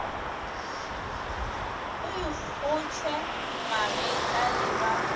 o ikgohle magetla le ba